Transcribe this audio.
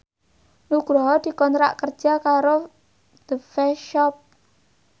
Nugroho dikontrak kerja karo The Face Shop